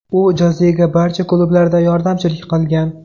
U Jozega barcha klublarda yordamchilik qilgan.